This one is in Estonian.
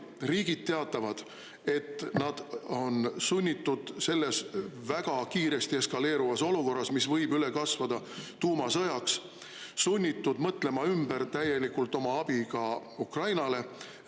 Riigid teatavad, et nad on sunnitud selles väga kiiresti eskaleeruvas olukorras, mis võib üle kasvada tuumasõjaks, sunnitud mõtlema ümber täielikult oma abi ka Ukrainale.